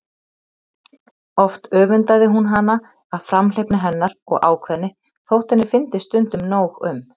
Oft öfundaði hún hana af framhleypni hennar og ákveðni þótt henni fyndist stundum nóg um.